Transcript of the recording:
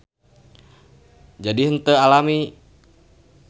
Jadi henteu alami.